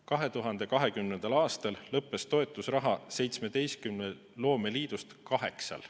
2020. aastal lõppes toetusraha 17 loomeliidust kaheksal.